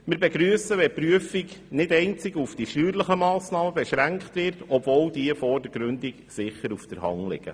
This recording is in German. Wir begrüssen, wenn die Prüfung nicht ausschliesslich auf die steuerlichen Massnahmen beschränkt wird, obwohl diese vordergründig sicher auf der Hand liegen.